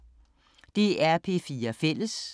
DR P4 Fælles